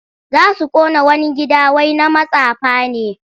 Za su ƙona wani gida wai na matsafa ne.